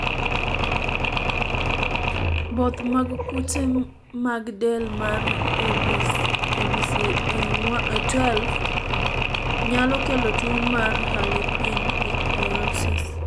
both mag kute mag del mar ABCA12 nyalo kelo tuo mar Harlequin ichthyosis